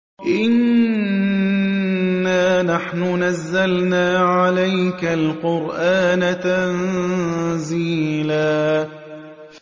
إِنَّا نَحْنُ نَزَّلْنَا عَلَيْكَ الْقُرْآنَ تَنزِيلًا